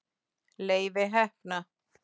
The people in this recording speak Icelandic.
Leifi heppna.